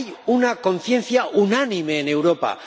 una conciencia unánime en Europa.